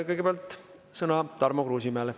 Kõigepealt sõna Tarmo Kruusimäele.